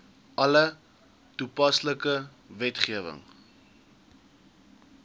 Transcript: alle toepaslike wetgewing